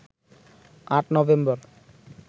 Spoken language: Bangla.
৮ নভেম্বর